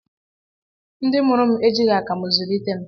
Ndị mụrụ m ejighị akamụ zụlite m